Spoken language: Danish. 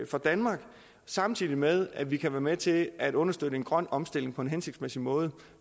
for danmark samtidig med at vi kan være med til at understøtte en grøn omstilling på en hensigtsmæssig måde